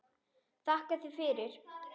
Þakka þér fyrir.